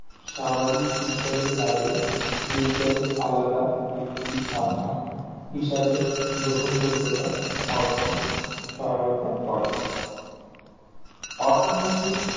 সামাজিক বিজ্ঞানের বাইরে বিজ্ঞনের আলাদা একটি শাখা হিসাবে গ্রহণ যোগ্যতা অর্জনে সহায়তা করে অর্থনীতিক